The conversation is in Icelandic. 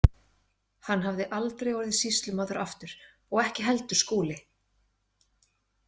Hann hafði aldrei orðið sýslumaður aftur og ekki heldur Skúli.